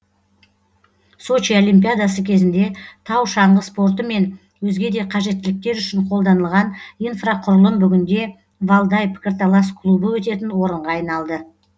сочи олимпиадасы кезінде тау шаңғы спорты мен өзге де қажеттіліктер үшін қолданылған инфрақұрылым бүгінде валдай пікірталас клубы өтетін орынға айналды